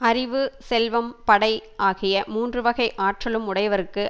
அறிவு செல்வம் படை ஆகிய மூன்று வகை ஆற்றலும் உடையவர்க்கு